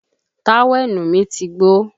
Táwẹ̀nù mí ti gbó